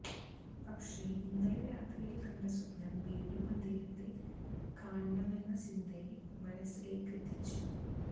പക്ഷെ ഇന്നലെ രാത്രിയില് കണ്ട സ്വപ്നം വീണ്ടും അദ്ദേഹത്തെ കാണണമെന്ന ചിന്തയെ മനസ്സിലേക്ക് എത്തിച്ചു